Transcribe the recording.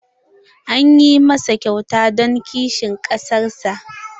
An yi masa kyauta don kishin ƙasar sa.